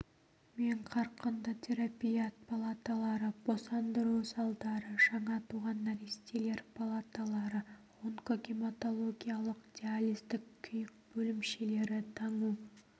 мен қарқынды терапия палаталары босандыру залдары жаңа туған нәрестелер палаталары онкогематологиялық диализдік күйік бөлімшелері таңу